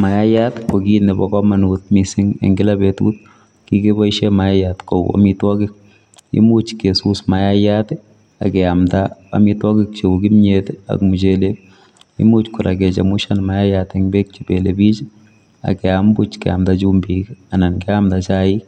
Maiyaat ii ko kiit nebo kamanuut eng kila betut kibaisheen mayayait kou amitwagiik, imuuch kesus maiyait ak keyamdaa amitwagiik che uu kimyeet ii ak muchelek, imuuch kora kichemushaan mayayait eng beek che belelebiik ak keyaam buuch keyamdaa chumbiik anan keyamdaa chaik